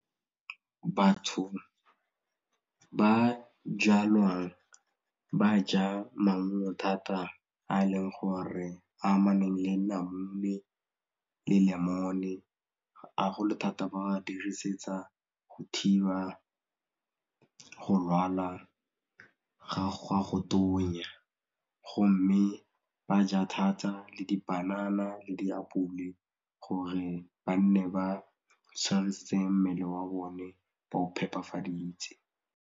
Batho ba jalwang ba ja maungo thata a leng gore a amaneng le namune le lemon-e, ga gole thata ba dirisetsa go thiba go lwala ga go tonya go mme ba ja thata le dipanana le diapole gore ba nne ba mmele wa bone ba o phepafaditse.